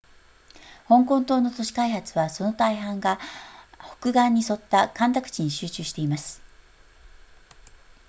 香港島の都市開発はその大半が北岸に沿った干拓地に集中しています